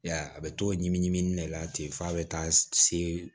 I y'a ye a bɛ t'o ɲimi ɲimi de la ten f'a bɛ taa se